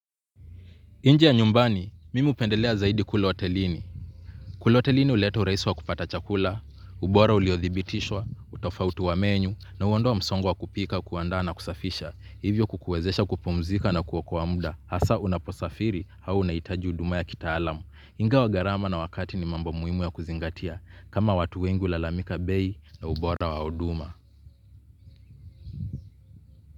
Nje ya nyumbani, mimi hupendelea zaidi kula hotelini. Kula hotelini huleta urahisi wa kupata chakula, ubora uliothibitishwa, utofauti wa menyu, na huondoa msongo wa kupika kuandaa na kusafisha. Hivyo kukuwezesha kupumzika na kuokoa muda. Hasaa unaposafiri au unahitaji huduma ya kitaalamu. Ingawa gharama na wakati ni mambo muhimu ya kuzingatia, kama watu wengi hulalamika bei na ubora wa huduma.